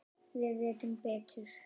Við vitum betur